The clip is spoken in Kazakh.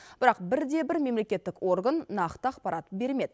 бірақ бірде бір мемлекетік орган нақты ақпарат бермеді